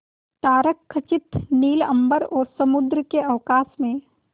तारकखचित नील अंबर और समुद्र के अवकाश में